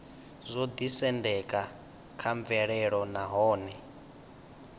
zwo ḓisendeka kha mvelelo nahone